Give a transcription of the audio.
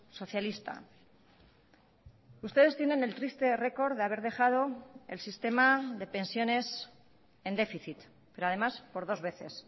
socialista ustedes tienen el triste récord de haber dejado el sistema de pensiones en déficit pero además por dos veces